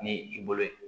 Ni i bolo ye